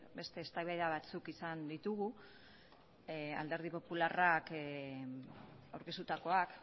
beste eztabaida batzuk izan ditugu alderdi popularrak aurkeztutakoak